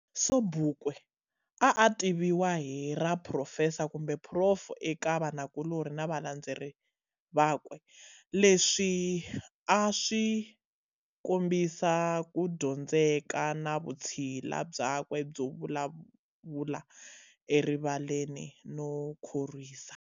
Sobukwe a a tiviwa hi ra Phrofesa kumbe"Prof" eka vanakulori na valandzeri vakwe, leswi a swikombisa kudyondzeka na vutshila byakwe byo vulavula erivaleni no khorwisa.